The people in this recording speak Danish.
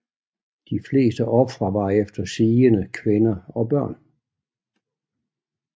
De fleste ofre var efter sigende kvinder og børn